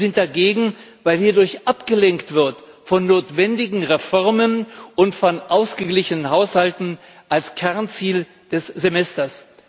Wir sind dagegen, weil hierdurch abgelenkt wird von notwendigen Reformen und von ausgeglichenen Haushalten als Kernziel des Semesters.